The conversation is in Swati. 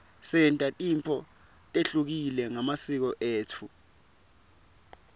senta tintfo letehlukile ngemasiko etfu